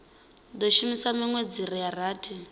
do shuma minwedzi ya rathi